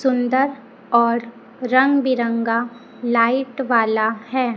सुंदर और रंग बिरंगा लाइट वाला है।